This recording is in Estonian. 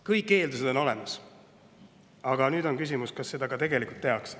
Kõik eeldused on olemas, aga nüüd on küsimus, kas seda ka tegelikult tehakse.